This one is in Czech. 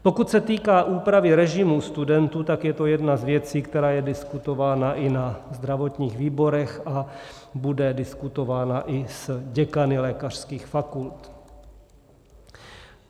Pokud se týká úpravy režimu studentů, tak je to jedna z věcí, která je diskutována i na zdravotních výborech a bude diskutována i s děkany lékařských fakult.